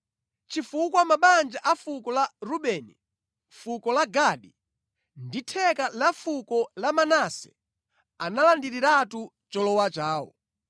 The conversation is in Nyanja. chifukwa mabanja a fuko la Rubeni, fuko la Gadi, ndi theka la fuko la Manase analandiriratu cholowa chawo.